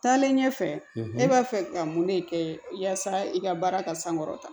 Taalen ɲɛfɛ ne b'a fɛ ka mun de kɛ yasa i ka baara ka sankɔrɔta